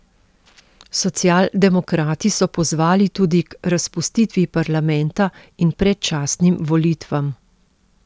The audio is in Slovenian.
Socialdemokrati so pozvali tudi k razpustitvi parlamenta in predčasnim volitvam.